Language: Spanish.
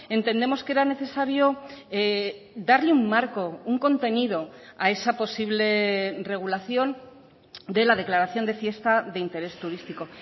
entendemos que era necesario darle un marco un contenido a esa posible regulación de la declaración de fiesta de interés turístico